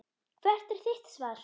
Hvert er þitt svar?